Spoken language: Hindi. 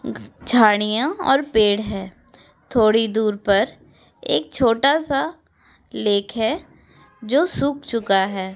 झाडियां और पेड़ है। थोड़ी दूर पर एक छोटा सा लेख है जो सूख चूका है।